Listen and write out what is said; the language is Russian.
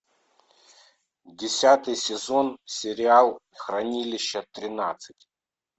десятый сезон сериал хранилище тринадцать